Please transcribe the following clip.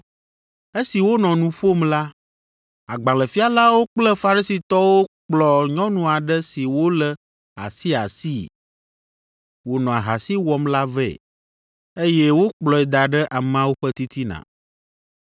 Esi wònɔ nu ƒom la, agbalẽfialawo kple Farisitɔwo kplɔ nyɔnu aɖe si wolé asiasii, wònɔ ahasi wɔm la vɛ, eye wokplɔe da ɖe ameawo ƒe titina,